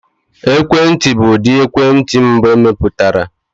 Ekwentị bụ ụdị ekwentị mbụ emepụtara.